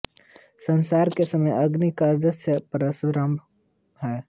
संस्कार के समय अग्नि का साक्ष्य परमावश्यक है